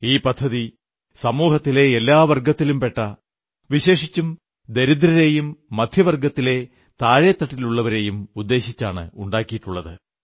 ഈ പദ്ധതി സമൂഹത്തിലെ എല്ലാ വർഗ്ഗത്തിലും പെട്ട വിശേഷിച്ചും ദരിദ്രരെയും മധ്യവർഗ്ഗത്തിലെ താഴെത്തട്ടിലുള്ളവരെയും ഉദ്ദേശിച്ചാണ് ഉണ്ടാക്കിയിട്ടുള്ളത്